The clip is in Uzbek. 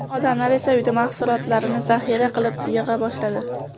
Odamlar esa uyda mahsulotlarni zaxira qilib yig‘a boshladi.